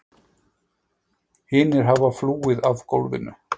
Hinir hafa flúið af gólfinu.